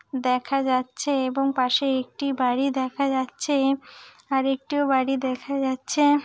দেখা যাচ্ছে এবং পাশে একটি বাড়ি দেখা যাচ্ছে আর একটিও বাড়ি দেখা যাচ্ছে--